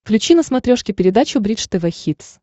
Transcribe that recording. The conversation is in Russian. включи на смотрешке передачу бридж тв хитс